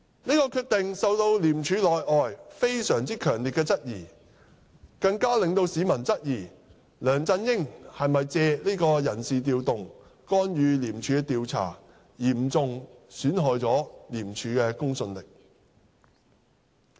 這個決定受到廉署內外非常強烈的質疑，更令市民質疑梁振英是否借這次人事調動干預廉署的調查，嚴重損害廉署的公信力。